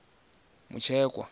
mutshekwa